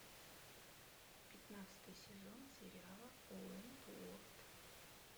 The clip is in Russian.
пятнадцатый сезон сериала уэнтуорт